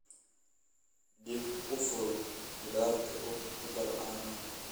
dib u fur khudaarta oo ku dar caano